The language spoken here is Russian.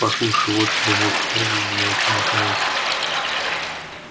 послушай вот тебе мой подарок замолчи наконец